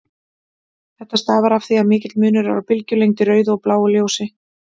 Þetta stafar af því að mikill munur er á bylgjulengd í rauðu og bláu ljósi.